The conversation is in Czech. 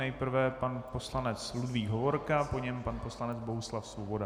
Nejprve pan poslanec Ludvík Hovorka, po něm pan poslanec Bohuslav Svoboda.